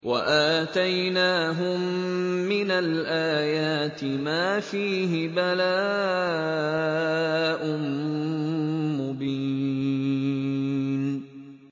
وَآتَيْنَاهُم مِّنَ الْآيَاتِ مَا فِيهِ بَلَاءٌ مُّبِينٌ